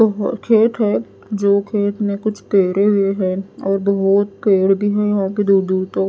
बहुत खेत है जो खेत में कुछ पेरे हुए है और बहुत पेड़ भी हैं यहां पे दूर दूर तक।